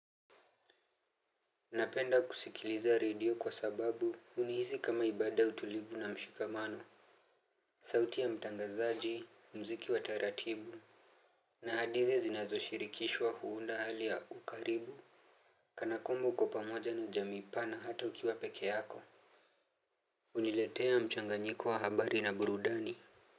Napenda kusikiliza radio kwa sababu hunihisi kama ibada yautulivu na mshikamano. Sauti ya mtangazaji, muziki wa taratibu. Na hadithi zinazo shirikishwa kuunda hali ya ukaribu. Kana kwamba uko pamoja na jamiipa na hata ukiwa pekee yako huniletea mchanganyiko wa habari na burudani.